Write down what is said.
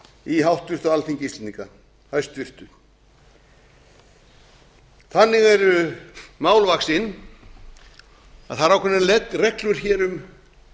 í háttvirtu alþingi íslendinga þannig eru mál vaxin að það eru ákveðnar reglur hér um